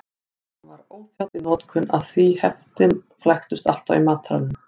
Hann var óþjáll í notkun af því heftin flæktust alltaf í mataranum.